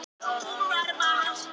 Þetta þótti mjög skrýtið.